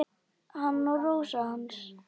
Hann og Rósa hans.